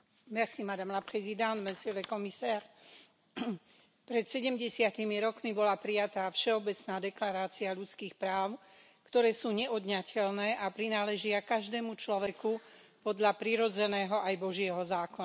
Vážená pani predsedníčka, pred sedemdesiatimi rokmi bola prijatá Všeobecná deklarácia ľudských práv, ktoré sú neodňateľné a prináležia každému človeku podľa prirodzeného aj Božieho zákona.